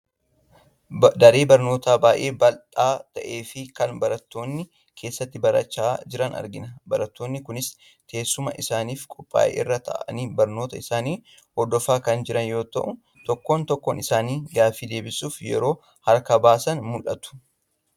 Daree barnootaa baay'ee baldhaa ta'ee fi kan barattoonni keessatti barachaa jiran argina. Barattoonni kunis teessuma isaaniif qophaa'e irra taa'anii barnoota isaanii hordofaa kan jiran yoo ta’u tokko tokkoon isaanii gaaffii deebisuuf yeroo harka baasan mul'atu.